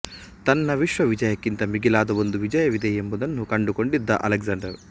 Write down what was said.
ತನ್ನ ವಿಶ್ವ ವಿಜಯಕ್ಕಿಂತ ಮಿಗಿಲಾದ ಒಂದು ವಿಜಯವಿದೆ ಎಂಬುದನ್ನು ಕಂಡುಕೊಂಡಿದ್ದ ಅಲೆಕ್ಸಾಂಡರ